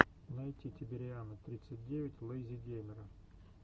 найти тибериана тридцать девять лэйзи геймера